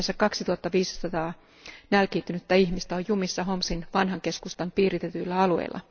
Yhteensä 2500 nälkiintynyttä ihmistä on jumissa Homsin vanhan keskustan piiritetyillä alueilla.